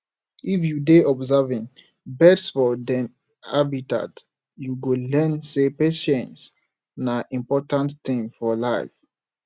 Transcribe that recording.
if you dey observing birds for dem habitat you go learn sey patience na important thing for life